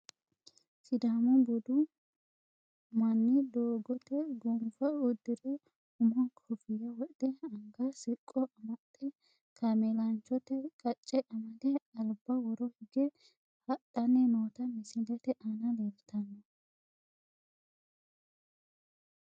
Sidaamu budu mani doogote gonfa udire umoho kofiyya wodhe anga siqqo amaxe kaamelanchote qacce amade alba woro higge hadhani noota misilete aana leeltano.